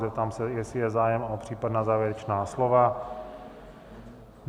Zeptám se, jestli je zájem o případná závěrečná slova.